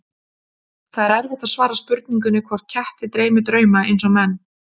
Það er erfitt að svara spurningunni hvort ketti dreymi drauma eins og menn.